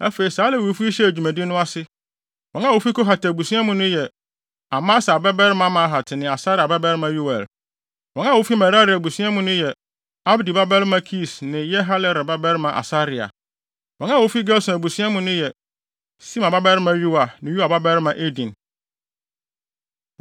Afei saa Lewifo yi hyɛɛ dwumadi no ase. Wɔn a wofi Kohat abusua mu no yɛ: Amasai babarima Mahat ne Asaria babarima Yoel. Wɔn a wofi Merari abusua mu no yɛ: Abdi babarima Kis ne Yehalelel babarima Asaria. Wɔn a wofi Gerson abusua mu yɛ: Sima babarima Yoa ne Yoa babarima Eden;